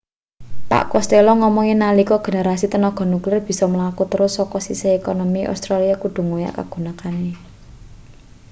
pak costello ngomong yen nalika generasi tenaga nuklir bisa mlaku terus sake sisih ekonomi australia kudu ngoyak kagunakane